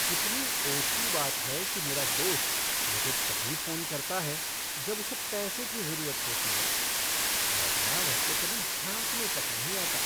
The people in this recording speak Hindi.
कितनी ओछी बात है कि मेरा दोस्त मुझे तभी फ़ोन करता है जब उसे पैसे की जरूरत होती है, वरना वह तो कभी झाँकने तक नहीं आता।